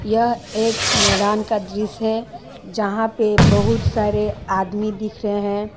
यह एक मैदान का दृश्य है जहां पे बहुत सारे आदमी दिख रहे हैं।